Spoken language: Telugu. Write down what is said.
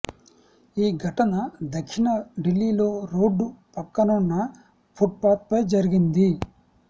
ఈ ఘటన దక్షిణ ఢిల్లీలో రోడ్డు పక్కనున్న ఫుట్పాత్పై జరిగింది